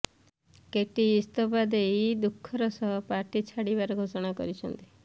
କେଟି ଇସ୍ତଫା ଦେଇ ଦୁଃଖର ସହ ପାର୍ଟି ଛାଡିବାର ଘୋଷଣା କରିଛନ୍ତି